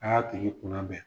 A y'a tigi kun labɛn.